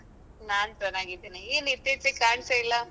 ನಾನ್ ಚೆನ್ನಾಗಿದ್ದೇನೆ ಏನ್ ಇತ್ತೀಚೆಗೆ ಕಾನಿಸ್ತಾ ಇಲ್ಲ?